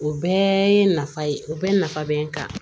O bɛɛ ye nafa ye o bɛɛ nafa bɛ n kan